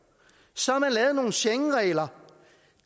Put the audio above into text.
så har man lavet nogle schengenregler